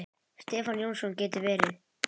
Stefán Jónsson getur verið